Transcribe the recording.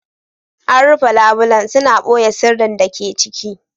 An rufe labulen, suna ɓoye sirrin da ke ciki.